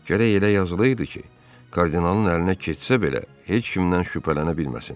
Gərək elə yazılıydı ki, kardinalın əlinə keçsə belə, heç kimdən şübhələnə bilməsin.